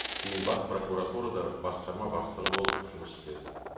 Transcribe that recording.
кейін бас прокуратурада басқарма бастығы болып жұмыс істеді